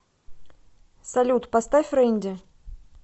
салют поставь ренди